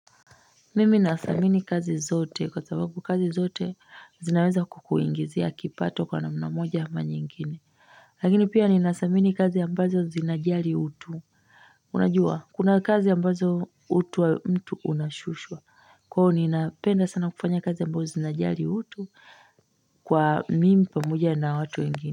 Mimi nathamini kazi zote kwa sababu kazi zote zinaweza kukuingizia kipato kwa namna moja ama nyingine lakini pia ni nathamini kazi ambazo zinajari utu unajua kuna kazi ambazo utu wa mtu unashushwa kuahio ni napenda sana kufanya kazi ambazo zinajari utu kwa mimi pamoja na watu wengine.